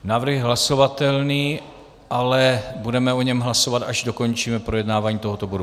Návrh je hlasovatelný, ale budeme o něm hlasovat, až dokončíme projednávání tohoto bodu.